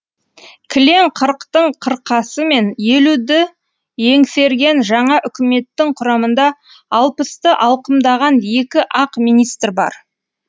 кілең қырықтың қырқасы мен елуді еңсерген жаңа үкіметтің құрамында алпысты алқымдаған екі ақ министр бар